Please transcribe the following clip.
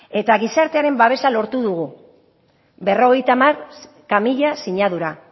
eta gizartearen babesa lortu dugu berrogeita hamaika mila sinadura